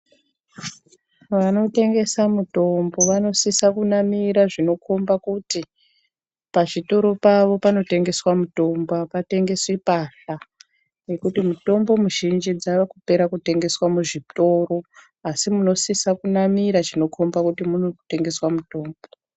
Vanotengesa mutombo vanosisa kunamira zvinokhomba kuti pazvitoro pavo panotengeswa mutombo, apatengeswi mbatya, ngekuti mitombo mizhinji dzavakupera kutengeswa muzvitoro, asi munosisa kunamira zvinokhomba kuti munitengeswa mutombo.